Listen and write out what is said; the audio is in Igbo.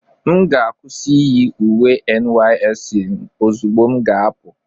M ga-akwụsị iyi uwe NYSC m ozugbo m ga-apụ.